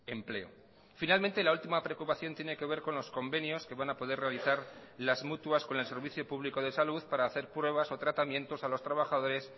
empleo finalmente la última preocupación tiene que ver con los convenios que van a poder realizar las mutuas con el servicio público de salud para hacer pruebas o tratamientos a los trabajadores